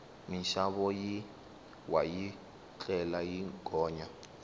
minxavo yi wa yi tlhela yi gonya